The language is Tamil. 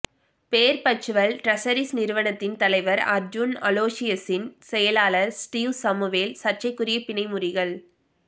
பேர்ப்பச்சுவல் ட்ரஷரீஸ் நிறுவனத்தின் தலைவர் அர்ஜூன் அலோசியஸின் செயலாளர் ஸ்டீவ் சமுவேல் சர்ச்சைக்குரிய பிணை முறிகள்